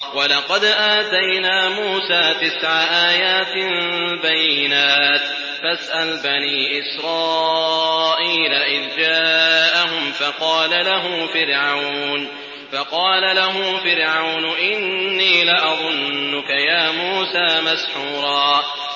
وَلَقَدْ آتَيْنَا مُوسَىٰ تِسْعَ آيَاتٍ بَيِّنَاتٍ ۖ فَاسْأَلْ بَنِي إِسْرَائِيلَ إِذْ جَاءَهُمْ فَقَالَ لَهُ فِرْعَوْنُ إِنِّي لَأَظُنُّكَ يَا مُوسَىٰ مَسْحُورًا